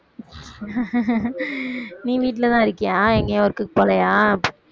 நீ வீட்டில தான் இருக்கியா எங்கேயும் work க்கு போகலையா